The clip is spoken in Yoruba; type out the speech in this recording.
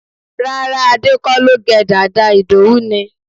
Rárá, Ade kọ́ ló gẹ dàda, Idowu ni